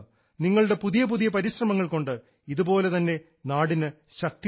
നിങ്ങളുടെ പുതിയ പുതിയ പരിശ്രമങ്ങൾ കൊണ്ട് ഇതുപോലെ തന്നെ നാടിന് ശക്തി നൽകുക